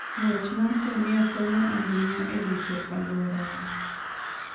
Ng'wech mar ngamia konyo ahinya e rito alwora.